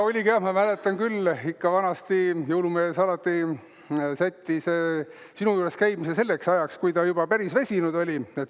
Oligi, ma mäletan küll, et ikka vanasti jõulumees alati sättis sinu juures käimise selleks ajaks, kui ta juba päris väsinud oli.